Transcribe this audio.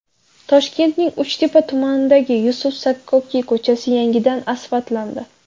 Toshkentning Uchtepa tumanidagi Yusuf Sakkokiy ko‘chasi yangidan asfaltlandi.